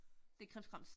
Det er krimskrams